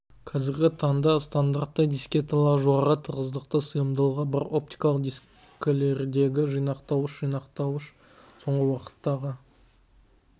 қазіргі таңда стандартты дискеталар жоғары тығыздықты сыйымдылығы бар оптикалық дискілердегі жинақтауыш жинақтауыш соңғы уақыттағы